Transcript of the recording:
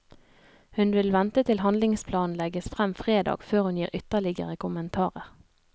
Hun vil vente til handlingsplanen legges frem fredag før hun gir ytterligere kommentarer.